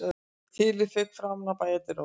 Þilið fauk framan af bæjardyrunum